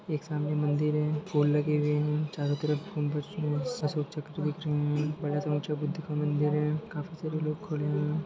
एक सामने मंदिर है फूल लगे हुए है चरों तरफ चक्र दिख रहे है बड़ा सा ऊचा बुद्ध का मंदिर है काफी सरे लोग खड़े हुए है ।